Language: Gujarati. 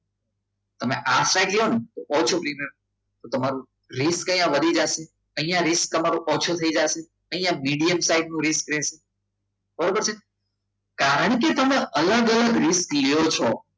તમે આ ઊંચાઈ લો ને તો છું તમારો risk જે આ વધી જતો હોય અહીંયા risk તમારો ઓછું થઈ જાય અહીંયા મીડીયમ સાઈઝનું risk લે બરોબર છે કારણ કે તમે અહીંયા આગળ લો છો